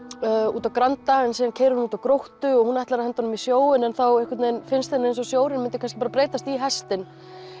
út á Granda en síðan keyrir hún út á Gróttu og hún ætlar að henda honum í sjóinn en þá einhvern veginn finnst henni eins og sjórinn myndi kannski breytast í hestinn